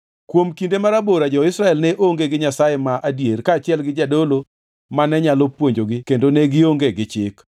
Kuom kinde marabora jo-Israel ne onge gi Nyasaye ma adier kaachiel gi jadolo mane nyalo puonjogi kendo ne gionge gi chik.